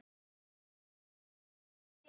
Ráð undir rifjum.